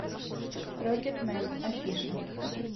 рокетмен афиша